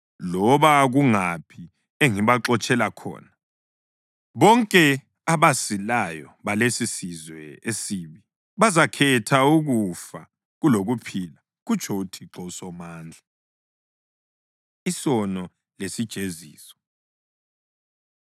Loba kungaphi engibaxotshela khona, bonke abasilayo balesisizwe esibi bazakhetha ukufa kulokuphila, kutsho uThixo uSomandla.’ ” Isono Lesijeziso